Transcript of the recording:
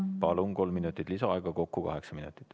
Palun, kolm minutit lisaaega, kokku kaheksa minutit.